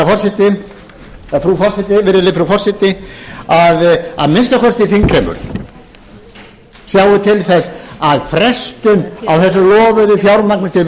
hér til frú forseti að að minnsta kosti þingheimur sjái til þess að frestun á þessu lofaða fjármagni til